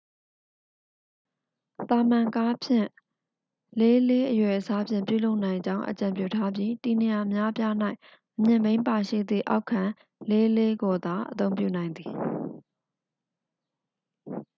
သာမန်ကားဖြင့်4 x 4 အရွယ်အစားဖြင့် ပြုလုပ်နိုင်ကြောင်း အကြံပြုထားပြီး တည်နေရာအများအပြား၌ အမြင့်ဘီးပါရှိသည့် အောက်ခံ 4 x 4 ကိုသာ အသုံးပြုနိုင်သည်